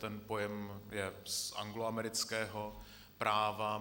Ten pojem je z angloamerického práva.